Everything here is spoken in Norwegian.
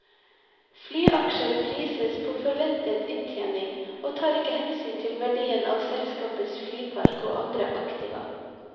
Flyaksjer prises på forventet inntjening, og tar ikke hensyn til verdien av selskapets flypark og andre aktiva.